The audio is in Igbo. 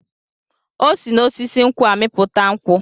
O si n'osisi nkwụ amịpụta nkwụ.